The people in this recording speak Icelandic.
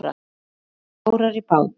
Þeir lögðu árar í bát.